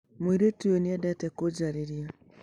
Mũirĩtu ũyũ nĩ endete kũnjarĩria.